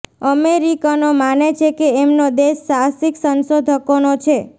અમેરિકનો માને છે કે એમનો દેશ સાહસિક સંશોધકોનો છે